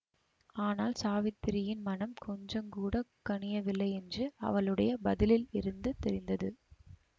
ஆனால் சாவித்திரியின் மனம் கொஞ்சங்கூடக் கனியவில்லையென்று அவளுடைய பதிலிலிருந்து தெரிந்தது